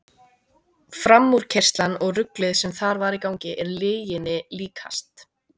Framúrkeyrslan og ruglið sem þar var í gangi er lyginni líkast.